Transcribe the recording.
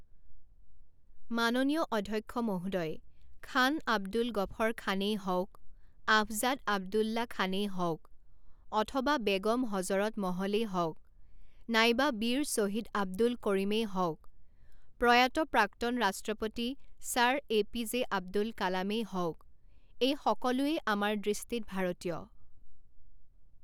মাননীয় অধ্যক্ষ মহোদয়, খান আব্দুল গফৰ খানেই হওঁক, আফছাঁদ আব্দুল্লা খানেই হওঁক, অথবা বেগম হজৰত মহলেই হওঁক, নাইবা বীৰ শ্বহীদ আব্দুল কৰিমেই হওঁক, প্ৰয়াত প্ৰাক্তন ৰাষ্ট্ৰপতি ছাৰ এপিজে আব্দুল কালামেই হওঁক, এই সকলোৱেই আমাৰ দৃষ্টিত ভাৰতীয়।